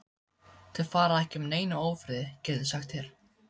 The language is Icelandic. Þeir fara ekki með neinum ófriði, get ég sagt þér.